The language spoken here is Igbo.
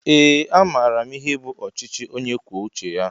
Ee a maara m ihe bụ ọchịchị ónyé kwụọ uche ya